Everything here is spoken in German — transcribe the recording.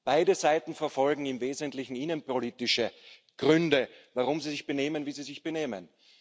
Beide Seiten verfolgen im Wesentlichen innenpolitische Gründe, warum sie sich benehmen, wie sie sich benehmen.